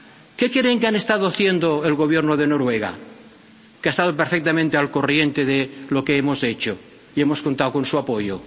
¿Qué creen que ha estado haciendo el Gobierno de Noruega, que ha estado perfectamente al corriente de lo que hemos hecho y que nos ha apoyado?